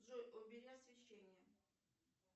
джой убери освещение